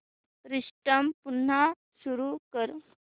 system पुन्हा सुरू कर